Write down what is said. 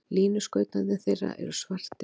Línuskautarnir þeirra eru svartir.